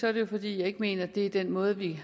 er det fordi jeg ikke mener det er den måde vi